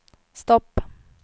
stopp